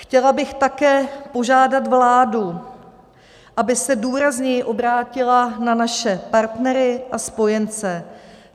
Chtěla bych také požádat vládu, aby se důrazněji obrátila na naše partnery a spojence.